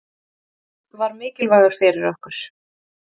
Frank var mikilvægur fyrir okkur.